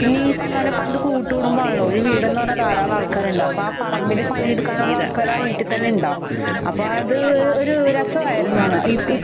പിന്നെ ഈ പറഞ്ഞപോലെ പണ്ട് കൂട്ടുകുടുംബാണല്ലൊ ഒരു വീടെന്ന് പറഞ്ഞാ ധാരാളം ആൾക്കാരുണ്ട്. അപ്പൊ ആ പറമ്പിൽ പണിയെടുക്കാനുള്ള ആൾക്കാര് ആ വീട്ടിതന്നെയുണ്ടാവും.അപ്പ അത് ഒര് ഒരസആരുന്നു അന്ന് .